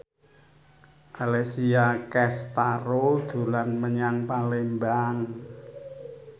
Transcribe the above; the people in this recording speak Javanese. Alessia Cestaro dolan menyang Palembang